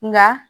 Nka